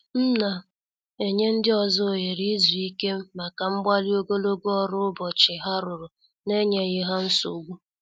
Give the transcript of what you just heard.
M na- enye ndị ọzọ oghere izu ike maka mgbali ogologo ọrụ ụbọchị ha rụrụ na- enyeghi ha nsogbu.